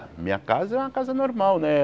Minha casa é uma casa normal, né?